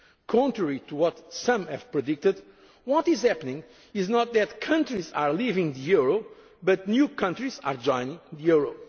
message. Contrary to what some have predicted, what is happening is not that countries are leaving the euro, but new countries are joining